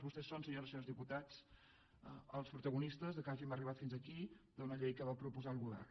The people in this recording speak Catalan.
vostès són senyores i senyors diputats els protagonistes que hàgim arribat fins aquí d’una llei que va proposar el govern